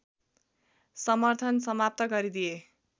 समर्थन समाप्त गरिदिए